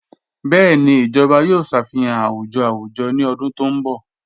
Bẹẹni, ijọba yòò ṣáfíhàn àwùjọ̀ àwùjọ̀ ní ọ̀dún tó nbọ̀.